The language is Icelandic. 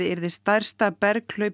yrði stærsta